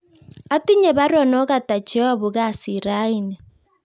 Otinye baruonok ata cheyobu kasit raini